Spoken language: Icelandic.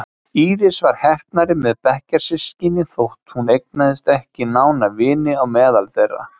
Íris var heppnari með bekkjarsystkini þótt hún eignaðist ekki nána vini á meðal þeirra.